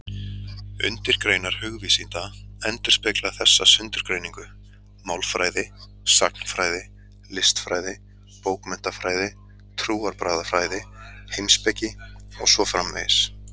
Undirgreinar hugvísinda endurspegla þessa sundurgreiningu: málfræði, sagnfræði, listfræði, bókmenntafræði, trúarbragðafræði, heimspeki og svo framvegis.